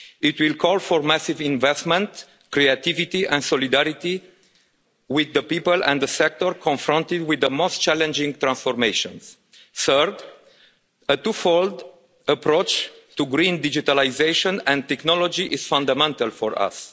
It will call for massive investment, creativity and solidarity with the people and the sectors confronted with the most challenging transformations. Third, a twofold approach to Green digitalisation and technology is fundamental for us.